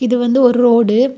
இது வந்து ஒரு ரோடு .